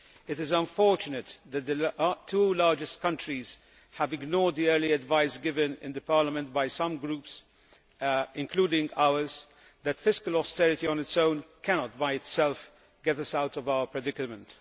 It is unfortunate that the two largest countries have ignored the early advice given in Parliament by some groups, including ours, that fiscal austerity on its own cannot by itself get us out of our predicament.